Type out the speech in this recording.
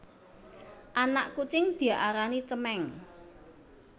Anak kucing diarani cemèng